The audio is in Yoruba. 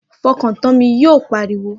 Fọkàn tán mi! Yóò pariwo